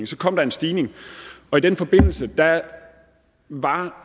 så kom der en stigning og i den forbindelse var